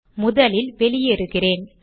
முதலில் வெளியேறுகிறேன்